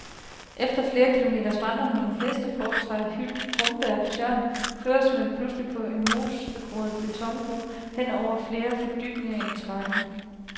Efter flere kilometers vandring mellem heste, frugttræer, hyld, brombær og tjørn, føres man pludselig på en mosgroet betonbro hen over flere fordybninger i terrænet.